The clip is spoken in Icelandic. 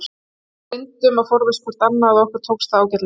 Við reyndum að forðast hvor annan og okkur tókst það ágætlega.